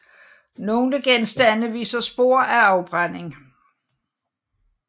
Nogle genstande viser spor af afbrænding